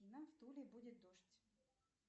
в туле будет дождь